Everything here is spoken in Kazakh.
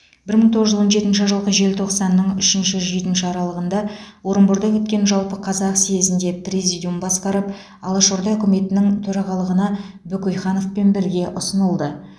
бір мың тоғыз жүз он жетінші жылғы желтоқсанның үшінші жетінші аралығында орынборда өткен жалпықазақ съезінде президиум басқарып алашорда үкіметінің төрағалығына бөкейхановпен бірге ұсынылды